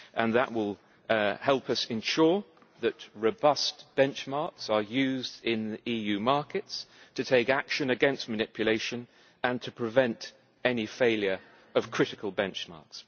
That will help us ensure that robust benchmarks are used in EU markets to take action against manipulation and to prevent any failure of critical benchmarks.